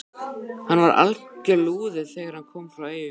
Hann var alger lúði þegar hann kom frá Eyjum.